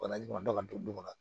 Bana jumɛn dɔ ka don la